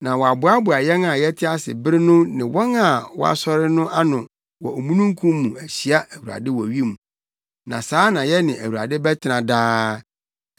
na wɔaboaboa yɛn a yɛte ase bere no ne wɔn a wɔasɔre no ano wɔ omununkum mu ahyia Awurade wɔ wim. Na saa na yɛne Awurade bɛtena daa.